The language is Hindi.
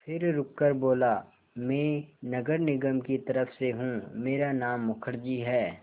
फिर रुककर बोला मैं नगर निगम की तरफ़ से हूँ मेरा नाम मुखर्जी है